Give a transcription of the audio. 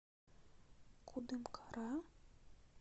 кудымкара